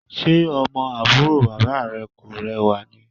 Ṣe ọmọ àbúrò bàbá rẹ kò rẹwà ni?